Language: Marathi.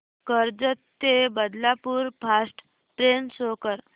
कर्जत ते बदलापूर फास्ट ट्रेन शो कर